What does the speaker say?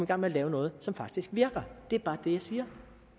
gang med at lave noget som faktisk virker det er bare det jeg siger